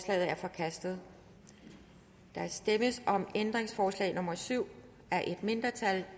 er forkastet der stemmes om ændringsforslag nummer syv af et mindretal